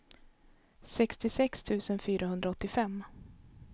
sextiosex tusen fyrahundraåttiofem